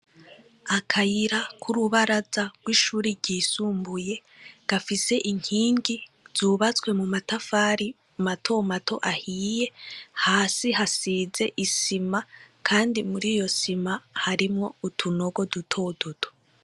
Akayira k' urubaraza gw' ishure ryisumbuye gafise inkingi zubatswe mumatafari mato mato ahiye hasi hasize isima kandi muriyo sima harimwo utunogo duto duto.